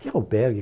Que albergue?